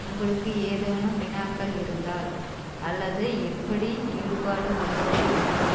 உங்களுக்கு ஏதேனும் வினாக்கள் இருந்தால் அல்லது எப்படி ஈடுபாடு கொள்ளுவது என்பது